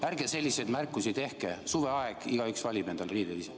Ärge selliseid märkusi tehke, on suveaeg, igaüks valib ise endale riided.